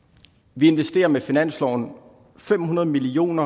vi investerer med finansloven fem hundrede million